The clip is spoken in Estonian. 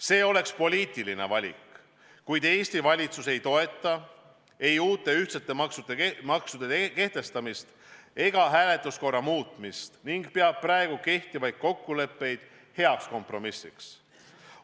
See oleks poliitiline valik, kuid Eesti valitsus ei toeta ei uute ühtsete maksude kehtestamist ega hääletuskorra muutmist ning peab praegu kehtivaid kokkuleppeid heaks kompromissiks.